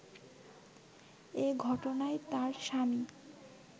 এ ঘটনায় তার স্বামী